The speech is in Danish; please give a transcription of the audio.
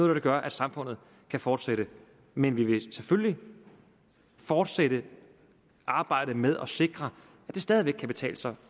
det der gør at samfundet kan fortsætte men vi vil selvfølgelig fortsætte arbejdet med at sikre at det stadig væk kan betale sig